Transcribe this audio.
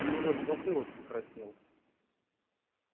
у него даже затылок покраснел